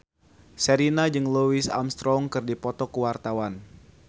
Sherina jeung Louis Armstrong keur dipoto ku wartawan